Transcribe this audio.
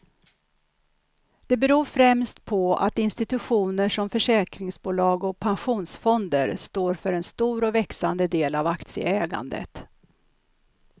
Det beror främst på att institutioner som försäkringsbolag och pensionsfonder står för en stor och växande del av aktieägandet.